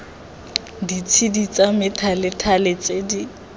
ditshedi tsa methalethale tse di